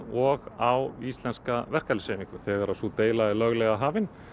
og á íslenska verkalýðshreyfingu þegar sú deila er löglega hafin